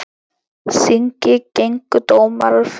Þingi gengu dómar frá.